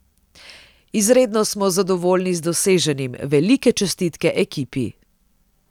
Izredno smo zadovoljni z doseženim, velike čestitke ekipi.